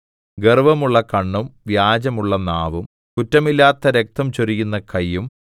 ഗർവ്വമുള്ള കണ്ണും വ്യാജമുള്ള നാവും കുറ്റമില്ലാത്ത രക്തം ചൊരിയുന്ന കയ്യും